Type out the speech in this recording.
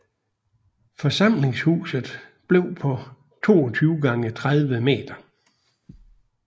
Forsamlingshuset blev på 22 gange 30 meter